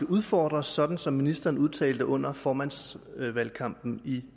udfordres sådan som ministeren udtalte under formandsvalgkampen i